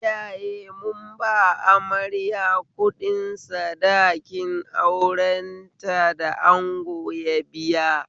Iyaye mun ba amarya kuɗin sadakin aurenta da ango ya biya